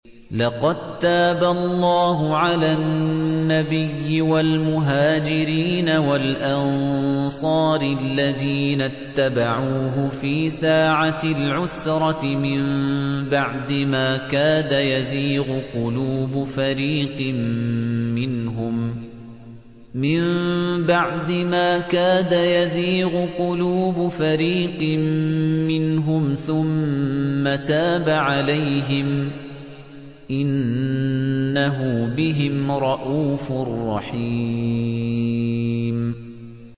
لَّقَد تَّابَ اللَّهُ عَلَى النَّبِيِّ وَالْمُهَاجِرِينَ وَالْأَنصَارِ الَّذِينَ اتَّبَعُوهُ فِي سَاعَةِ الْعُسْرَةِ مِن بَعْدِ مَا كَادَ يَزِيغُ قُلُوبُ فَرِيقٍ مِّنْهُمْ ثُمَّ تَابَ عَلَيْهِمْ ۚ إِنَّهُ بِهِمْ رَءُوفٌ رَّحِيمٌ